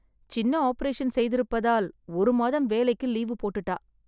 சின்ன ஒப்பரேஷன் செய்திப்பதால் ஒரு மாதம் வேலைக்கு லீவு போட்டுட்டா